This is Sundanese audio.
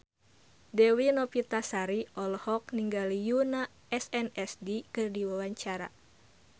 Dewi Novitasari olohok ningali Yoona SNSD keur diwawancara